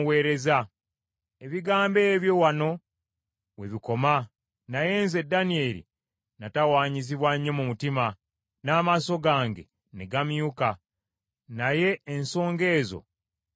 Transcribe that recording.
“Ebigambo ebyo wano we bikoma. Naye nze Danyeri natawaanyizibwa nnyo mu mutima, n’amaaso gange ne gammyuka, naye ensonga ezo ne nzeekuuma.”